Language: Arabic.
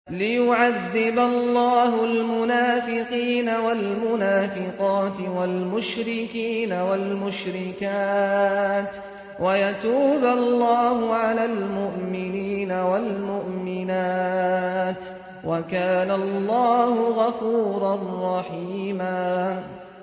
لِّيُعَذِّبَ اللَّهُ الْمُنَافِقِينَ وَالْمُنَافِقَاتِ وَالْمُشْرِكِينَ وَالْمُشْرِكَاتِ وَيَتُوبَ اللَّهُ عَلَى الْمُؤْمِنِينَ وَالْمُؤْمِنَاتِ ۗ وَكَانَ اللَّهُ غَفُورًا رَّحِيمًا